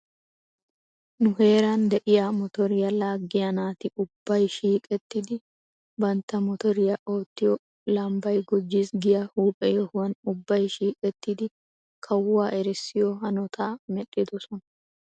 Nu heeran de'iyaa motoriyaa laaggiyaa naati ubbay shiiqettidi bantta motoriyaa oottiyoo lambbay gujjis giya huuphe yohuwan ubbay shiiqettidi kawuwaa erissiyoo hanotaa medhdhidosona.